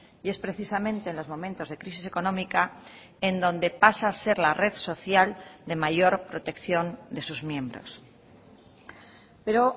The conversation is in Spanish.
y es precisamente en los momentos de crisis económica en donde pasa a ser la red social de mayor protección de sus miembros pero